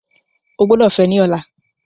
O gbọdọ fẹ ni ọla!